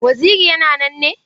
Waziri yana nan ne?